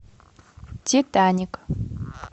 титаник